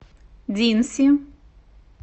динси